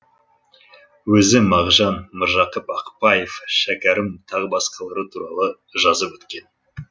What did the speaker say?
өзі мағжан міржақып ақпаев шәкәрім тағы басқалары туралы жазып өткен